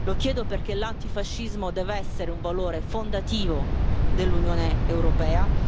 Lo chiedo perché l'antifascismo deve essere un valore fondativo dell'Unione europea.